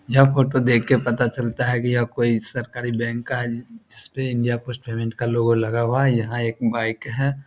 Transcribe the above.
यह फोटो देखके पता चलता है कि यह कोई सरकारी बैंक का है। इसपे इंडिया पोस्ट पेमेंट का लोगो लगा हुआ है। यहाँ एक बाइक है।